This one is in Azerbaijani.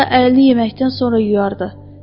Hətta əlini yeməkdən sonra yuyardı.